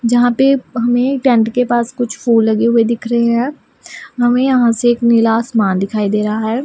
जहां पे हमें टेंट के पास कुछ फूल लगे हुए दिख रहे हैं हमें यहां से एक नीला आसमान दिखाई दे रहा है।